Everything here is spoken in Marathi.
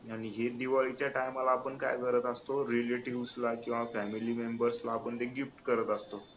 आणि हेच दिवाळीच्या time ला आपण काय करत असतो relatives ला किंवा family members ना आपण ते gift करत असतो